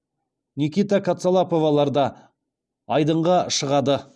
никита кацалаповалар да айдынға шығады